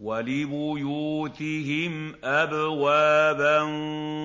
وَلِبُيُوتِهِمْ أَبْوَابًا